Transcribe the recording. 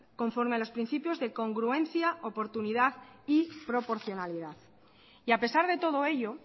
conforme a los principios de congruencia oportunidad y proporcionalidad y a pesar de todo ello